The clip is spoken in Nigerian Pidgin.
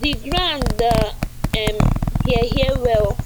the ground da um hear hear well